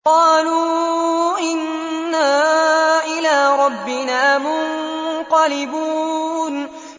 قَالُوا إِنَّا إِلَىٰ رَبِّنَا مُنقَلِبُونَ